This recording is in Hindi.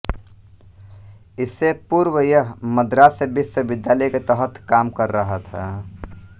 इससे पूर्व यह मद्रास विश्वविद्यालय के तहत काम कर रहा था